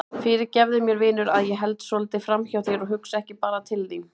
Fyrirgefðu mér vinur að ég held svolítið framhjá þér og hugsa ekki bara til þín.